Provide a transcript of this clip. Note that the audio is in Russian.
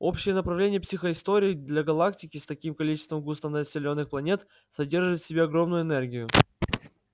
общее направление психоистории для галактики с таким количеством густонаселённых планет содержит в себе огромную энергию